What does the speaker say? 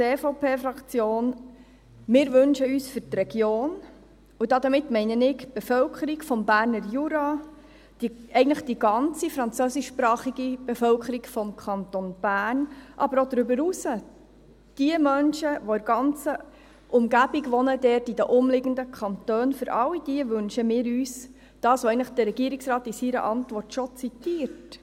Wir als EVP-Fraktion, wir wünschen uns für die Region, und damit meine ich die Bevölkerung des Berner Juras und eigentlich die ganze französischsprachige Bevölkerung des Kantons Bern, aber auch darüber hinaus die Menschen, die in der ganzen Umgebung dort wohnen, in den umliegenden Kantonen, für all diese wünschen wir uns das, was eigentlich der Regierungsrat in seiner Antwort schon zitiert: